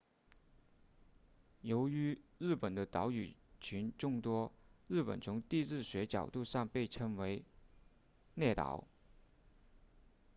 由于日本的岛屿群众多日本从地质学角度上常被称为列岛